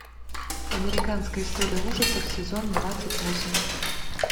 американская история ужасов сезон двадцать восемь